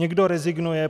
Někdo rezignuje.